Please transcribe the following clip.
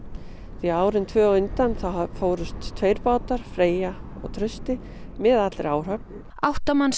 því að árin tvö á undan fóru tveir bátar Freyja og Trausti með allri áhöfn átta manns